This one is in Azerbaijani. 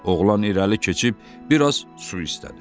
Oğlan irəli keçib biraz su istədi.